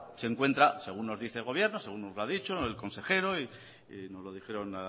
se encuentra según nos dice el gobierno según nos lo ha dicho el consejero y nos lo dijeron